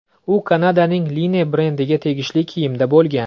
U Kanadaning Line brendiga tegishli kiyimda bo‘lgan.